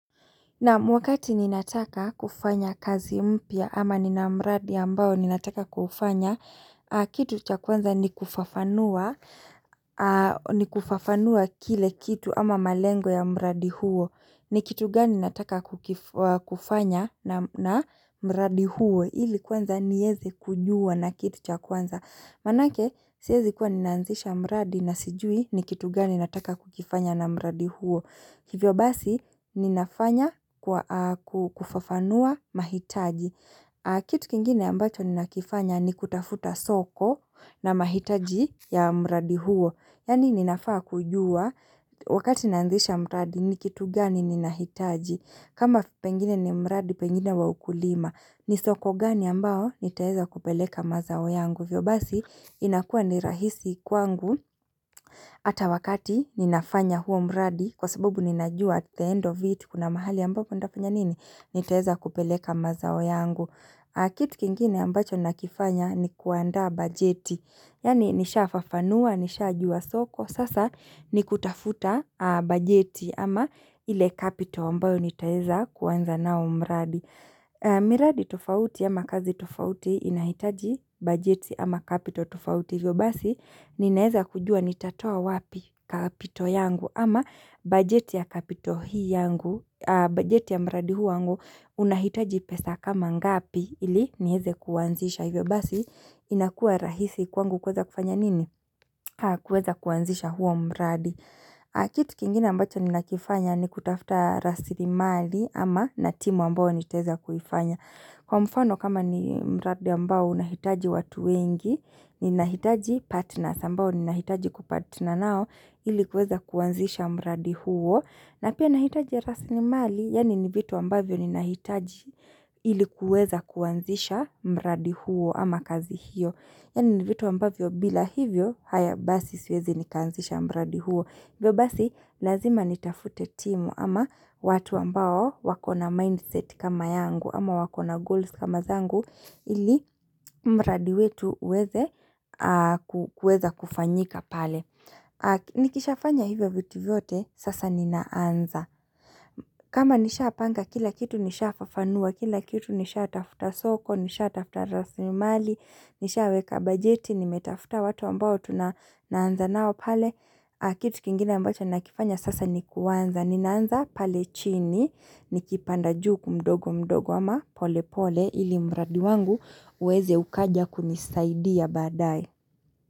Nam wakati ninataka kufanya kazi mpya ama Nina mradi ambao ninataka kufanya, kitu cha kwanza ni kufafanua kile kitu ama malengo ya mradi huo. Ni kitu gani ninataka kufanya na mradi huo ili kwanza nieze kujua na kitu cha kwanza. Manake sihezi kuwa ninaanzisha mradi na sijui ni kitu gani ninataka kukifanya na mradi huo. Hivyo basi ninafanya kufafanua mahitaji Kitu kingine ambacho ninafanya ni kutafuta soko na mahitaji ya mradi huo. Yaani ninafaa kujua wakati naanzisha mradi ni kitu gani ninahitaji. Kama pengine ni mradi pengine wa ukulima ni soko gani ambao nitaeza kupeleka mazao yangu Hivyo basi inakua ni rahisi kwangu Hata wakati ninafanya huo mradi kwa sababu ninajua at the end of it kuna mahali ambapo ndafanya nini? Nitaeza kupeleka mazao yangu. Kitu kingine ambacho nakifanya ni kuandaa bajeti. Yaani nisha fafanua, nisha jua soko. Sasa ni kutafuta bajeti ama ile kapito ambayo nitaeza kuwanza nao mbradi. Miradi tofauti ama kazi tofauti inahitaji bajeti ama kapito tufauti hivyo basi Ninaeza kujua nitatoa wapi kapito yangu ama bajeti ya kapito hii yangu. Bajeti ya mradi huu wangu unahitaji pesa kama ngapi ili nieze kuanzisha hivyo basi inakua rahisi kwangu kuweza kufanya nini? Kuweza kuanzisha huo mradi Kitu kingine ambacho nina kifanya ni kutafta rasili mali ama na timu ambao nitaeza kuifanya. Kwa mfano kama ni mradi ambao unahitaji watu wengi Ninahitaji partners ambao ninahitaji kupatna nao ilikuweza kuanzisha mradi huo. Na pia nahitaji rasili mali Yaani ni vitu ambavyo ninahitaji ili kuweza kuanzisha mradi huo ama kazi hiyo. Yaani ni vitu ambavyo bila hivyo haya basi siwezi nikaanzisha mradi huo. Hivyo basi lazima nitafute timu ama watu ambao wakona mindset kama yangu ama wakona goals kama zangu ili mradi wetu uweze kufanyika pale Nikisha fanya hivyo vitu vyote sasa ninaanza kama nishapanga kila kitu nishafafanua, kila kitu nisha tafuta soko, nisha tafuta rasilimali, nisha weka bajeti, nimetafuta watu ambao tunaanza nao pale Kitu kingine ambacho nakifanya sasa ni kuanza, ninaanza pale chini, nikipanda juu mdogo mdogo ama pole pole ili mradi wangu uweze ukaja kunisaidia baadae.